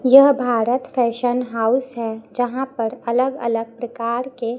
यह Bharat fashion house है जहां पर अलग अलग प्रकार के--